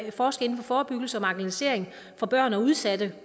at forske inden for forebyggelse af marginalisering af børn og udsatte